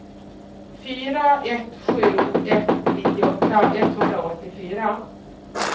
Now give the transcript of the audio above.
fyra ett sju ett nittioåtta etthundraåttiofyra